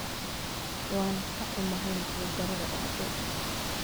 waan ka xumahay nasiib darrada dhacday